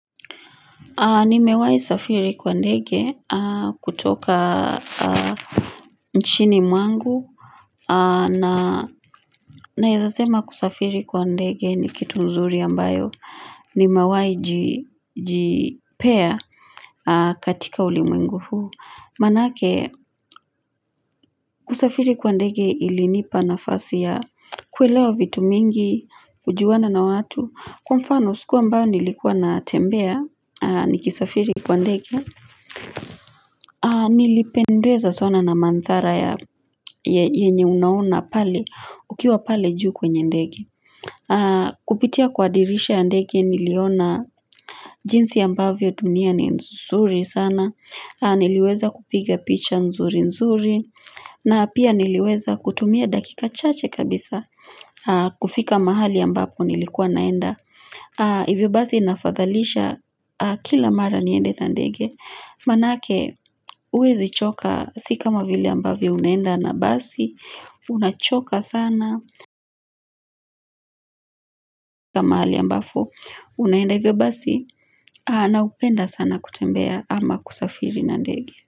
Nimewahi safiri kwa ndege kutoka nchini mwangu Naeza sema kusafiri kwa ndege ni kitu nzuri ambayo Nimewahi jipea katika ulimwengu huu Maanake kusafiri kwa ndege ilinipa nafasi ya kuelewa vitu mingi kujuana na watu Kwa mfano siku ambayo nilikuwa natembea nikisafiri kwa ndege Nilipendezwa sana na mandhara ya yenye unaona pale ukiwa pale juu kwenye ndege Kupitia kwa dirisha ya ndege niliona jinsi ambavyo dunia ni nzuri sana, niliweza kupiga picha nzuri nzuri na pia niliweza kutumia dakika chache kabisa kufika mahali ambapo nilikuwa naenda hivyo basi inafadhalisha kila mara niende na ndege maanake huwezi choka si kama vile ambavyo unaenda na basi unachoka sana mahali ambapo unaenda hivyo basi naupenda sana kutembea ama kusafiri na ndege.